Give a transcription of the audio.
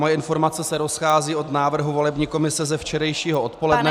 Má informace se rozchází od návrhu volební komise ze včerejšího odpoledne.